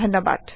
বিদায়